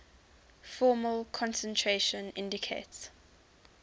formal concentration indicates